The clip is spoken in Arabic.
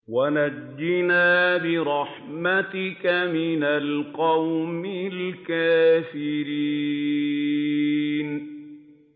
وَنَجِّنَا بِرَحْمَتِكَ مِنَ الْقَوْمِ الْكَافِرِينَ